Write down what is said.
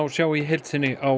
sjá í heild sinni á